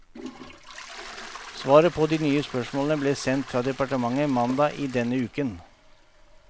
Svaret på de nye spørsmålene ble sendt fra departementet mandag i denne uken.